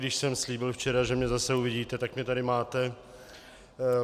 Když jsem slíbil včera, že mě zase uvidíte, tak mě tady máte.